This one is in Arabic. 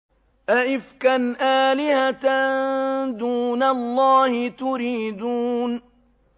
أَئِفْكًا آلِهَةً دُونَ اللَّهِ تُرِيدُونَ